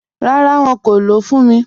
Ràrá, wọn kò lọ́ fún mí.